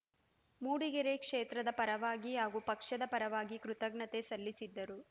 ಮೂಡಿಗೆರೆ ಕ್ಷೇತ್ರದ ಪರವಾಗಿ ಹಾಗೂ ಪಕ್ಷದ ಪರವಾಗಿ ಕೃತಜ್ಞತೆ ಸಲ್ಲಿಸಿದರು